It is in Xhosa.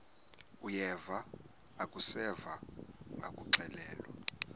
uyeva akuseva ngakuxelelwa